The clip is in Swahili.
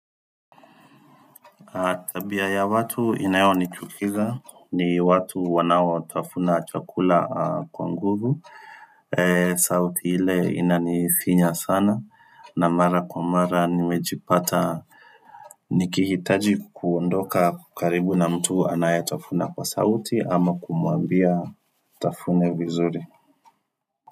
Tabia ya watu inayonichukiza ni watu wanaotafuna chakula kwa nguvu sauti ile inanifinya sana na mara kwa mara nimejipata nikihitaji kuondoka kwa karibu na mtu anayetafuna kwa sauti ama kumwambia atafune vizuri.